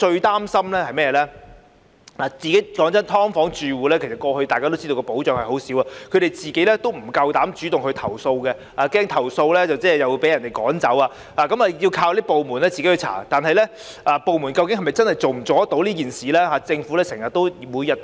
大家都知道"劏房"住戶得到的保障很少，他們不敢主動投訴，怕投訴後會被人趕走，因此，要靠有關部門進行調查，但有關部門究竟能否做到這件事呢？